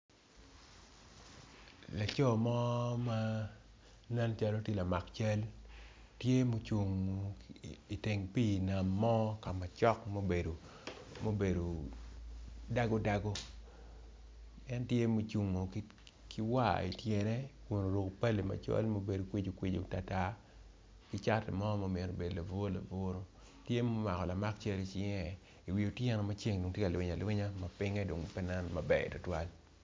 Laco mo ma nen calo lamak cal tye ma ocung i teng pi nam mo kama cok mubedo dago dago en tye mucung ki war ityene kun oruko pale macol mubedo kwici kwici tar tar kicati mo ma myero obedo laburu laburu tye ma omako lamak cal i cinge i wi otyeno maceng dong tye ka lwiny alwinya pinge dong pe nen maber tutwal.